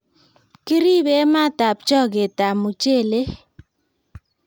Kiribe matab choketab mochelek.